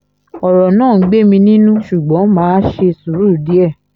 ọ̀rọ̀ náà ń gbé mi nínú ṣùgbọ́n má a ṣe sùúrù díẹ̀